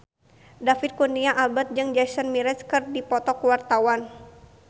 David Kurnia Albert jeung Jason Mraz keur dipoto ku wartawan